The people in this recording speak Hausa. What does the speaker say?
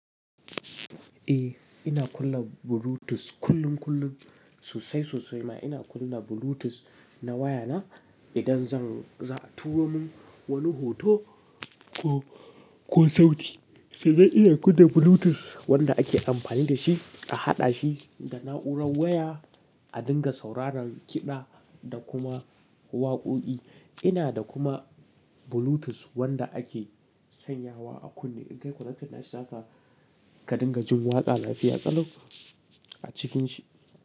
Eh ina kunna Bluetooth kullum kullum sosai sosai ma ina kunna Bluetooth na waya na idan zan za a turo min wani hoto ko, ko sauti sai dai ina kunna Bluetooth wanda ake amfani da shi a haɗa shi da na'urar waya, a dinga sauraron kiɗa da kuma waƙoƙi. Ina da kuma Bluetooth wanda ake sanyawa a kunne in kai konectin nashi zaka dinga jin waƙa lafiya ƙalau a cikin shi.